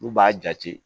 N'u b'a jate